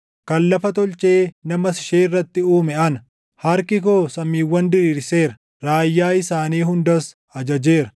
Kan lafa tolchee namas ishee irratti uume ana. Harki koo samiiwwan diriirseera; raayyaa isaanii hundas ajajeera.